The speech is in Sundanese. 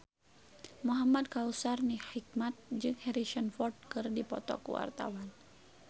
Muhamad Kautsar Hikmat jeung Harrison Ford keur dipoto ku wartawan